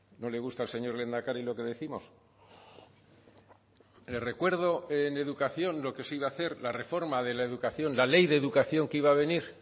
no le gusta al señor lehendakari lo que décimos le recuerdo en educación lo que se iba a hacer la reforma de la educación la ley de educación que iba a venir